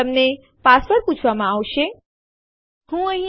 જેમ તમે આઉટપુટ સંદેશ દ્વારા જોઈ શકો છો